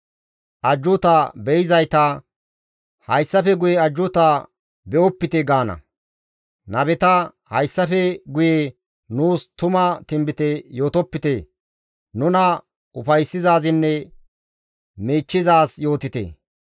Ajjuuta be7izayta, «Hayssafe guye ajjuuta be7opite» gaana; nabeta, «Hayssafe guye nuus tuma tinbite yootopite; nuna ufayssizaazinne miichchizaaz yootite.